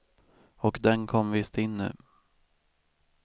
Och den kom visst in nu.